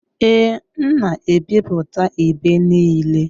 Ee, m na-ebipụta ibe niile